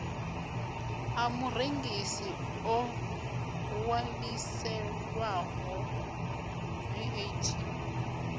ḓa murengisi o ṅwaliselwaho vat